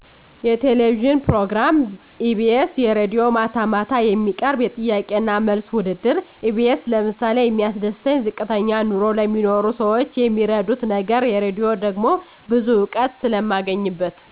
የቴሌቪዥን ፕሮግራም ኢቢኤስ የራድዬ ማታ ማታ የሚቀርብ የጥያቄና መልስ ውድድር ኢቢኤስ ለምሳሌ የሚያስደስተኝ ዝቅተኛ ኑሮ ለሚኖሩ ሰዎች የሚረዱት ነገር የራድሆ ደሞ ብዙ እውቀት ስለማገኝበት